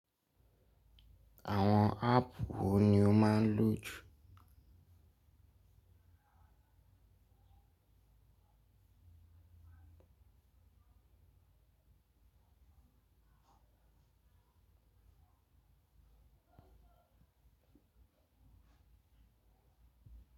Àwọn app wo ni o máa ń lò jù?